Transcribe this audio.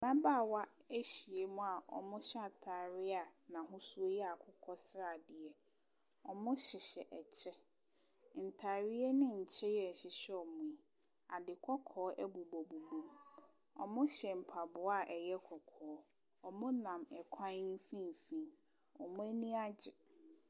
Ababaawa ahyia mu a ɔmo hyɛ ataade a na ahosuo yɛ akokɔsradeɛ. Ɔmo hyehyɛ ɛkyɛ, ntaareɛ ne nkyɛ yi a ɛhyehyɛ ɔmo yi ade kɔkɔɔ ɛbobɔ bobɔ mu. Ɔmo hyɛ mpaboa a ɛyɛ kɔkɔɔ. Ɔmo nam ɛkwan mfimfin, ɔmo ani agye.